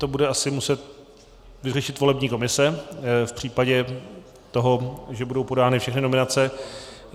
To bude asi muset vyřešit volební komise v případě toho, že budou podány všechny nominace.